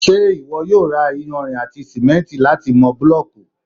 ṣé ìwọ yóò ra iyanrìn àti sìmẹ́ntì láti mọ búlọ̀kù?